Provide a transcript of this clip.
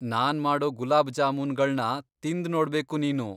ನಾನ್ ಮಾಡೋ ಗುಲಾಬ್ ಜಾಮೂನ್ಗಳ್ನ ತಿಂದ್ನೋಡ್ಬೇಕು ನೀನು.